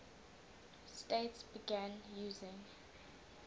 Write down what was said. states began using